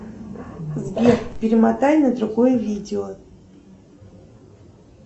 сбер перемотай на другое видео